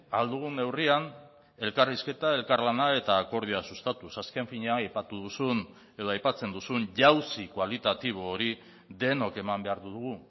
ahal dugun neurrian elkarrizketa elkarlana eta akordioa sustatuz azken finean aipatu duzun edo aipatzen duzun jauzi kualitatibo hori denok eman behar dugu